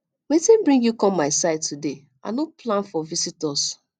wetin bring you come my side today i no plan for visitors